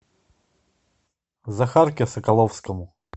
захарке соколовскому